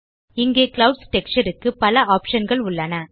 இங்கே clouds texture க்கு பல optionகள் உள்ளன